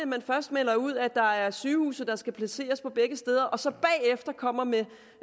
man først melder ud at der er sygehuse der skal placeres begge steder og så bagefter kommer med